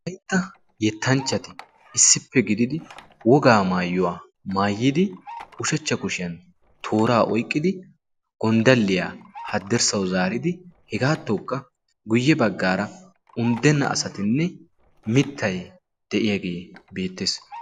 Wolaytta yettanchchati issippe gididi wogaa maayyuwaa maayyidi ushachcha kushiyan tooraa oiqqidi gonddalliyaa haddirssau zaaridi hegaattookka guyye baggaara unddenna asatinne mittai de'iyaagee beettees.